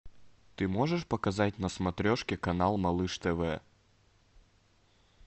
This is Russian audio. ты можешь показать на смотрешке канал малыш тв